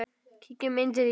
Kíkjum inn til þín